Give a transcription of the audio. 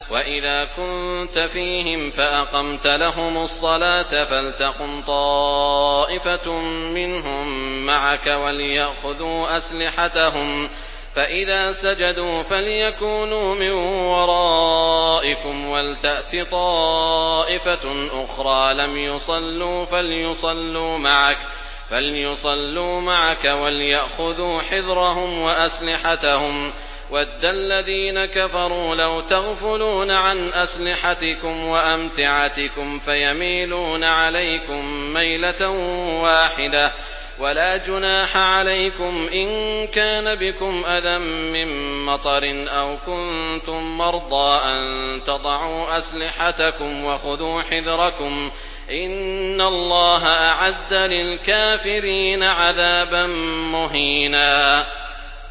وَإِذَا كُنتَ فِيهِمْ فَأَقَمْتَ لَهُمُ الصَّلَاةَ فَلْتَقُمْ طَائِفَةٌ مِّنْهُم مَّعَكَ وَلْيَأْخُذُوا أَسْلِحَتَهُمْ فَإِذَا سَجَدُوا فَلْيَكُونُوا مِن وَرَائِكُمْ وَلْتَأْتِ طَائِفَةٌ أُخْرَىٰ لَمْ يُصَلُّوا فَلْيُصَلُّوا مَعَكَ وَلْيَأْخُذُوا حِذْرَهُمْ وَأَسْلِحَتَهُمْ ۗ وَدَّ الَّذِينَ كَفَرُوا لَوْ تَغْفُلُونَ عَنْ أَسْلِحَتِكُمْ وَأَمْتِعَتِكُمْ فَيَمِيلُونَ عَلَيْكُم مَّيْلَةً وَاحِدَةً ۚ وَلَا جُنَاحَ عَلَيْكُمْ إِن كَانَ بِكُمْ أَذًى مِّن مَّطَرٍ أَوْ كُنتُم مَّرْضَىٰ أَن تَضَعُوا أَسْلِحَتَكُمْ ۖ وَخُذُوا حِذْرَكُمْ ۗ إِنَّ اللَّهَ أَعَدَّ لِلْكَافِرِينَ عَذَابًا مُّهِينًا